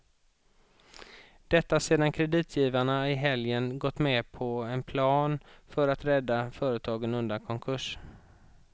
Detta sedan kreditgivarna i helgen gått med på en plan för att rädda företaget undan konkurs.